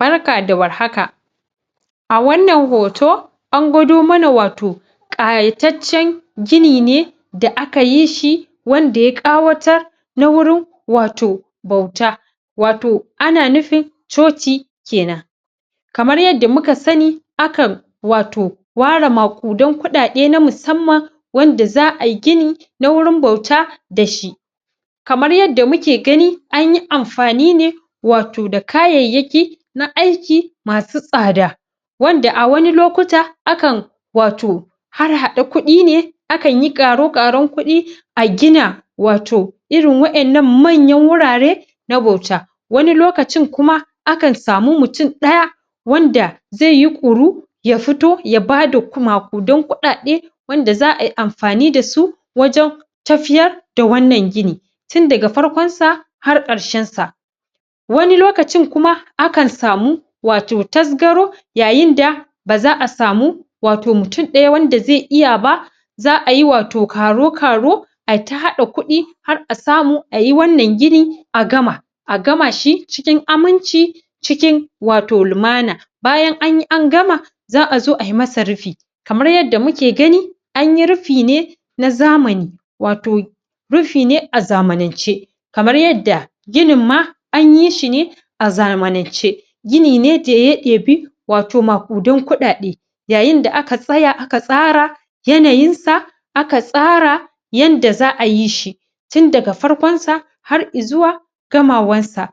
Barka da war haka a wannan hoto, an kwado mana wato kayachaccen gini ne da aka yishi wan da ya kawatar na wurin wato bauta wato ana nufin choci kenan kamar yadda muka sani akan wato ware makudan kudade na musamman wanda zaayi gini na wajen bauta dashi kamar yadda muke gani anyi anfanine wato da kayayyaki na aiki wato masu tsada wanda a wani lokuta akan wato akan harhada kudine, akanyi karo-karon kudine a gina wato irin wan nan manyan hurare na bauta wari lokacin kuma akan samun mutun daya wanda zaiyi kuri ya fito ya bada makudan, kudade wanda zaayi anfani dasu wajen tafiyar da wan nan gini tundaga farkon sa har karshen sa wani lokacin kuma akan samu wato tasgaro, yayinda bazaa samu wato mutun daya wanda bazai iya ba zaayi wato karo karo aita hada kudi har a samu ayi wan nan gini a gama a gama shi wato cikin aminci cikin limana bayan anyi an gama zaa zo ai masa rufi kamar yadda muke gani anyi rufine na zamani wato rufine a zamanance kamar yadda ginnin ma anyishine a zamance ginine da ya debi wato makudan kudade yayin da aka tsaya aka tsara yanayin sa aka tsara yadda zaayishi tun daga farkon sa har izuwa gamawan sa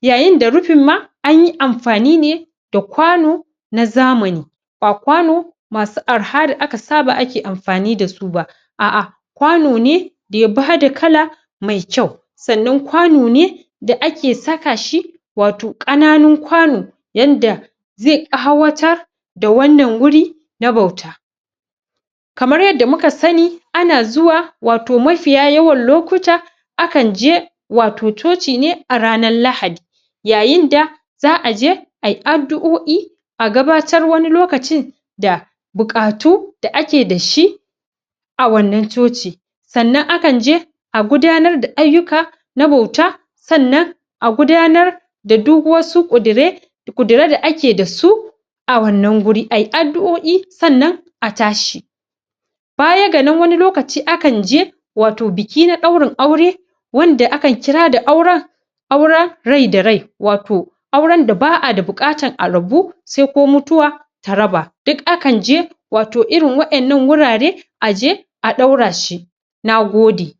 yayin da rufin ma, anyi anfane da kwano na zamani ba kwano masu araha da ake anfani dasuba a a kwano ne da ya bada kala mai kyau, san nan kwane da ake sakashi wato kananun kwano, yanda zai kawatar da wan nan huri wato na bauta kamar yadda muka sani a na zuwa wato a mafiya yawan lokuta akan je wato cocine a ranan lahadi yayin da zaa je ayi adduo'i a gabatar wani lokacin da bukatu da ake dashi a wan nan cocin san nan akan je a gudanar da aiyuka na bauta san nan a gudanar da duk wasu kudire kudire da ake dasu a wannan huri ayi aduoi san nan a tashi baya ga nan wani lokaci akan je biki wato biki na daurin aure wanda akan kira da auren, auren rai-da-rai wato auren da baa bukata a rabu saidai ko mutuwa ta raba, duk akan je wato irin wadan nan hurare a je a daurashi na gode